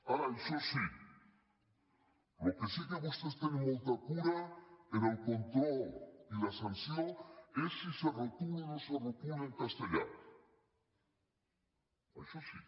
ara això sí en el que sí que vostès tenen molta cura en el control i la sanció és si se retola o no se retola en castellà això sí